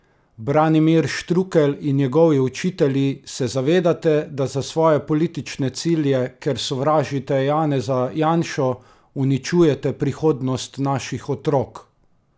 Branimir Štrukelj in njegovi učitelji, se zavedate, da za svoje politične cilje, ker sovražite Janeza Janšo, uničujete prihodnost naših otrok?